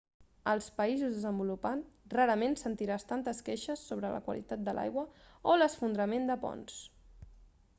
als països desenvolupats rarament sentiràs tantes queixes sobre la qualitat de l'aigua o l'esfondrament de ponts